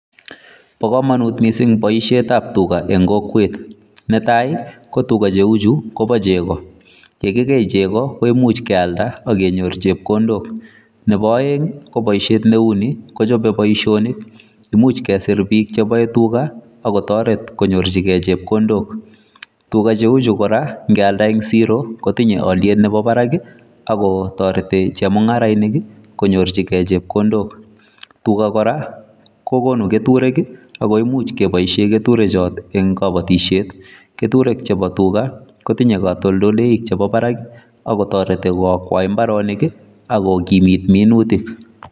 Bo komonut mising en kokwet. Ne tai ko tuga cheu chu kobo chego, ye kigei chego koimuch kealda ak kenyor chepkondok nebo oeng ko boishet neu ni kochobe boisionik. Imuch kesir biik che boe tuga ak kotoret konyorjige chepkondok. Tuga cheu chu nge alda en siro kotinye olyet nemi barak ago toreti chemung'arainik konyorji chepkondok. Tua kora kogonu keturek ago imuch keboishen keturechu en kobotishet. Keturek chebo tuga kotinye katoltoleiwek chebo barak ak kotoreti koakwai mbarenik ak kokimit minutik.